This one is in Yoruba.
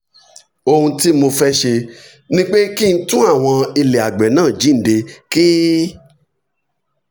ohun tí mo fẹ́ ṣe ni pé kí n tún àwọn ilẹ̀ àgbẹ̀ náà jíǹde kí